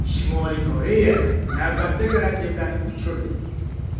Shimoliy Koreya navbatdagi raketani uchirdi.